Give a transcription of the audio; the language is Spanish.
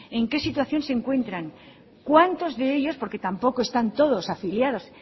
en qué situación se encuentran cuántos de ellos porque tampoco están todos afiliados